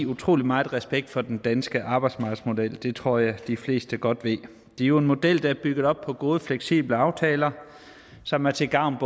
utrolig meget respekt for den danske arbejdsmarkedsmodel det tror jeg de fleste godt ved det er jo en model der er bygget op på gode fleksible aftaler som er til gavn